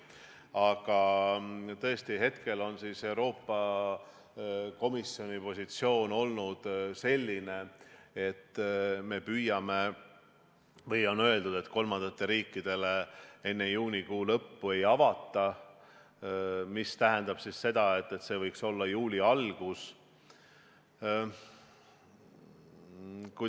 Aga tõesti, hetkel on Euroopa Komisjoni positsioon olnud selline, et on öeldud, et kolmandatele riikidele enne juunikuu lõppu piire ei avata, mis tähendab seda, et see võiks toimuda juuli alguses.